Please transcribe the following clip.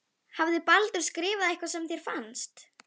Hafði Baldur skrifað eitthvað sem þér fannst.